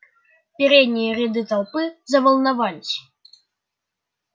передние ряды толпы заволновались